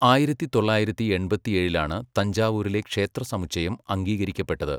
ആയിരത്തി തൊള്ളായിരത്തി എൺപത്തിയേഴിലാണ് തഞ്ചാവൂരിലെ ക്ഷേത്ര സമുച്ചയം അംഗീകരിക്കപ്പെട്ടത്.